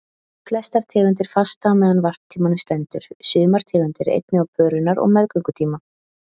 Flestar tegundir fasta á meðan varptímanum stendur, sumar tegundir einnig á pörunar- og meðgöngutíma.